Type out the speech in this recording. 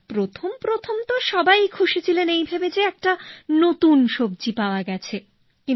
মানে প্রথম প্রথম তো সবাই খুশি ছিলেন এই ভেবে যে একটা নতুন সবজি পাওয়া গেছে